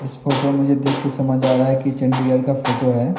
इस फोटो में देख कर समझ आरहा है की चंडीगढ़ का फोटो है।